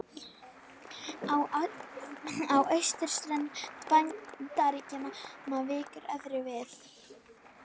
Á austurströnd Bandaríkjanna víkur öðru við.